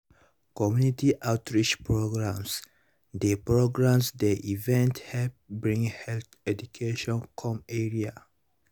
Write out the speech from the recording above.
community outreach programs dey programs dey even help bring health education come area.